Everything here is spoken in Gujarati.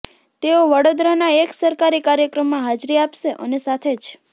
તેઓ વડોદરાના એક સરકારી કાર્યક્રમમાં હાજરી આપશે અને સાથે જ